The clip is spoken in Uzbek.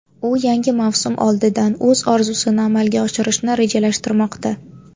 U yangi mavsum oldidan o‘z orzusini amalga oshirishni rejalashtirmoqda.